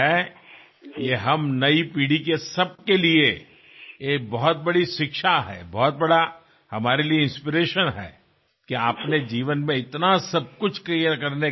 జీవితంలో మీరు ఇంత సాధించిన తర్వాత కూడా మీ తల్లిదండ్రులు అందించిన సంస్కారానికీ వినమ్రతకీ ఎల్లప్పుడూ ప్రాముఖ్యతనివ్వడం మాకెంతో స్ఫూర్తిదాయకం